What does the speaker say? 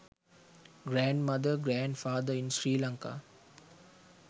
grand mother grand father in sri lanka